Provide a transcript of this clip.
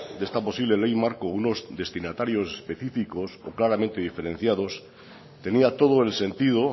de esta posible ley marco unos destinatarios específicos claramente diferenciados tenía todo el sentido